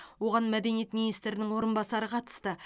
оған мәдениет министрінің орынбасары қатысты